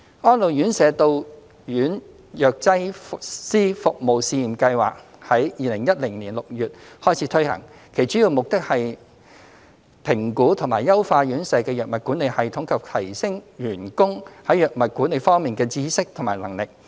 "安老院舍到院藥劑師服務試驗計劃"於2010年6月開始推行，其主要目的是評估及優化院舍的藥物管理系統及提升員工在藥物管理方面的知識和能力。